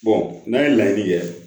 n'a ye laɲini kɛ